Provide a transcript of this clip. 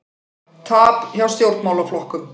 Tap hjá stjórnmálaflokkum